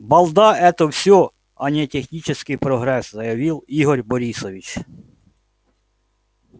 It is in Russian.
балда это всё а не технический прогресс заявил игорь борисович